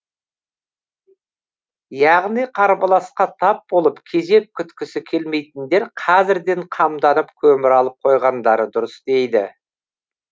яғни қарбаласқа тап болып кезек күткісі келмейтіндер қазірден қамданып көмір алып қойғандары дұрыс дейді